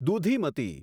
Dudhimati